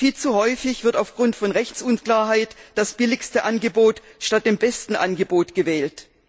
Viel zu häufig wird aufgrund von Rechtsunklarheit das billigste Angebot statt dem besten Angebot gewählt.